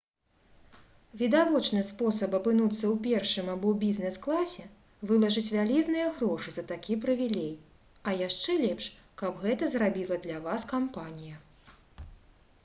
відавочны спосаб апынуцца ў першым або бізнес-класе — вылажыць вялізныя грошы за такі прывілей а яшчэ лепш каб гэта зрабіла для вас кампанія